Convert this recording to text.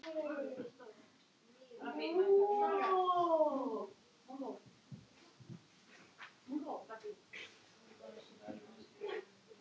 Þú ætlar kannski að reikna þetta í huganum?